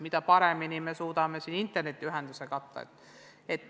Seda rohkem, mida parema internetiühenduse me suudame tagada.